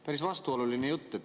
Päris vastuoluline jutt.